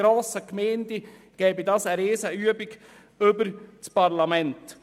In grossen Gemeinden käme es zu einer Riesenübung über das Parlament.